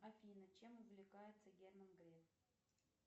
афина чем увлекается герман греф